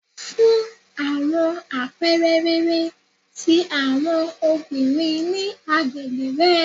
Fun awọn apẹẹrẹ rere ti awọn obinrin ni agbegbe rẹ